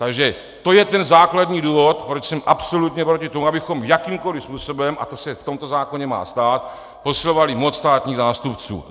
Takže to je ten základní důvod, proč jsem absolutně proti tomu, abychom jakýmkoliv způsobem, a to se v tomto zákoně má stát, posilovali moc státních zástupců.